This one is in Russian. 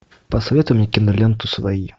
посоветуй мне киноленту свои